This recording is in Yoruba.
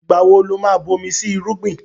Ìgbà wo lo má bomi sí irúgbìn?